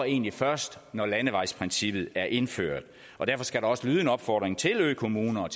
egentlig først når landevejsprincippet er indført og derfor skal der også lyde en opfordring til økommuner